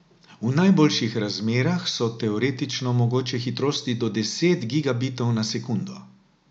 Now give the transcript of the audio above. V najboljših razmerah so teoretično mogoče hitrosti do deset gigabitov na sekundo.